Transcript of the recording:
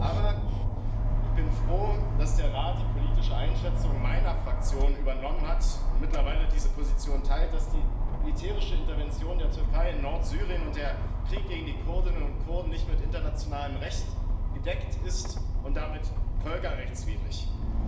Aber ich bin froh, dass der Rat die politische Einschätzung meiner Fraktion übernommen hat und mittlerweile diese Position teilt, dass die militärische Intervention der Türkei in Nordsyrien und der Krieg gegen die Kurdinnen und Kurden nicht vom internationalen Recht gedeckt und damit völkerrechtswidrig sind.